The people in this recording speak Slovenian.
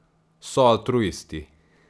So altruisti.